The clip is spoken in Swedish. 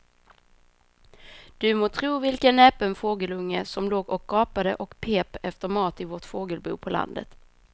Du må tro vilken näpen fågelunge som låg och gapade och pep efter mat i vårt fågelbo på landet.